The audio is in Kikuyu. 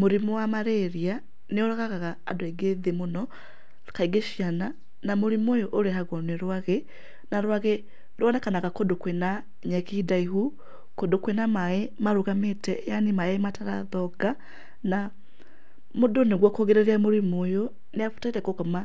Mũrimũ wa marĩria, nĩ ũragaga andũ aingĩ thĩ mũno na kaingĩ ciana, na mũrimũ ũyũ ũrehagwo nĩ rwagĩ, na rwagĩ ruonekanaga kũndũ kwĩna nyeki ndaihu, kũndũ kwĩna maĩ marũgamĩte yaani maĩ matarathonga, na mũndũ nĩguo kũgirĩrĩria mũrimũ ũyũ, nĩ abataire gũkoma